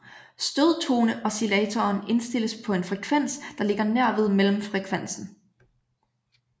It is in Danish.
Stødtoneoscillatoren indstilles på en frekvens der ligger nær ved mellemfrekvensen